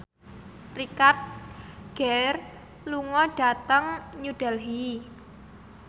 Richard Gere lunga dhateng New Delhi